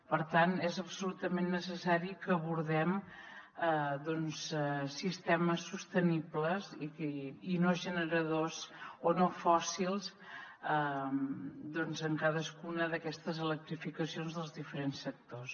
per tant és absolutament necessari que abordem doncs sistemes sostenibles i no generadors o no fòssils doncs en cadascuna d’aquestes electrificacions dels diferents sectors